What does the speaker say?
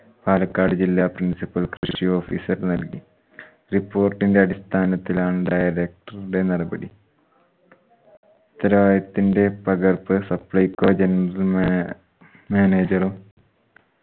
പാലക്കാട് ജില്ലാ principal കൃഷി officer നൽകി. report ന്റെ അടിസ്ഥാനത്തിലാണ് director ഉടെ നടപടി കലായത്തിന്റെ പകർപ്പ് supplyco general man manager